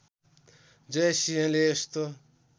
जय सिंहले यस्तो